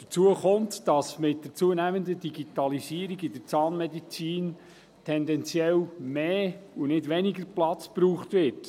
Hinzu kommt, dass mit der zunehmenden Digitalisierung in der Zahnmedizin tendenziell mehr und nicht weniger Platz benötigt wird.